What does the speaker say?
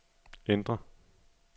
ændr